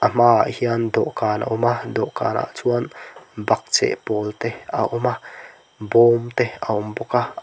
ahma ah hian dawhkan a awm a dawhkan ah chuan bakcheh pawl te a awm a bawm te a awm bawk a--